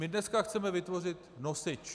My dneska chceme vytvořit nosič.